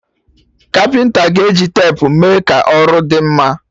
Kapịnta ga-eji tepu mee ka ọrụ dị mma